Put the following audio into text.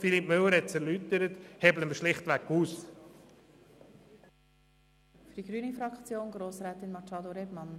Für die grüne Fraktion spricht Grossrätin Machado Rebmann.